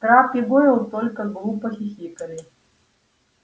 крэбб и гойл только глупо хихикали